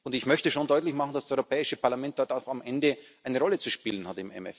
Und ich möchte schon deutlich machen, dass das Europäische Parlament im MFR am Ende auch eine Rolle zu spielen